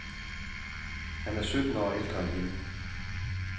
Han er sytten år ældre end hende.